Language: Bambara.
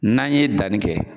N'an ye danni kɛ